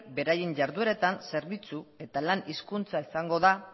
beraien jardueratan zerbitzu eta lan hizkuntza izango da